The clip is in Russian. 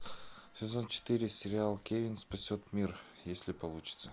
сезон четыре сериал кевин спасет мир если получится